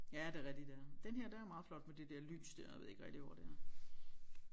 Ja det er rigtigt ja den her den er meget flot med det der lys der jeg ved ikke rigtig hvor det er